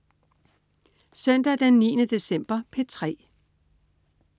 Søndag den 9. december - P3: